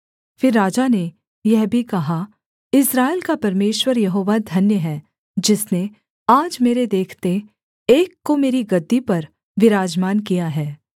फिर राजा ने यह भी कहा इस्राएल का परमेश्वर यहोवा धन्य है जिसने आज मेरे देखते एक को मेरी गद्दी पर विराजमान किया है